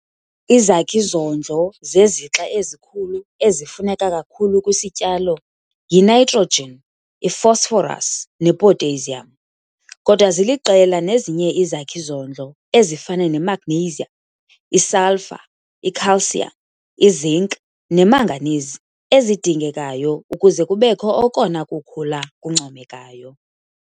Izakhi-zondlo zezixa ezikhulu ezifuneka kakhulu kwisityalo yiNtrogen, iPhosphorus nePotassium kodwa ziliqela nezinye izakhi-zondlo ezifana neMagnesium, iSulphur, iCalcium, iZinc neManganese ezidingekayo ukuze kubekho okona kukhula kuncomekayo.